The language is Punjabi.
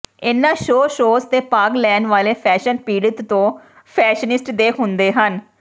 ਇਨ੍ਹਾਂ ਸ਼ੋਅ ਸ਼ੋਅਜ਼ ਤੇ ਭਾਗ ਲੈਣ ਵਾਲੇ ਫੈਸ਼ਨ ਪੀੜਤ ਤੋਂ ਫੈਸ਼ਨਿਸਟ ਦੇ ਹੁੰਦੇ ਹਨ